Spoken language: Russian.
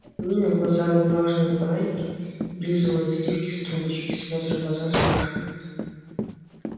нина в глазах бумажные фонарики облизывает сливки с трубочки смотрит в глаза спрашивает